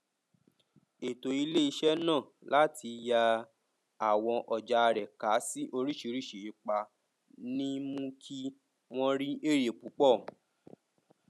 ètò iléiṣẹ náà láti yà àwọn ọja rẹ ká sí oríṣìíríṣìí ipa ni mú kí wọn rí èrè púpọ